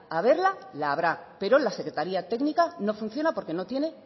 haberla la habrá pero la secretaria técnica no funciona porque no tiene